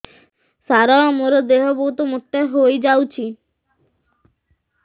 ସାର ମୋର ଦେହ ବହୁତ ମୋଟା ହୋଇଯାଉଛି